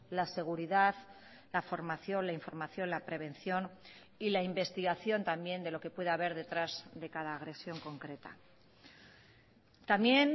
la seguridad la formación la información la prevención y la investigación también de lo que pueda haber detrás de cada agresión concreta también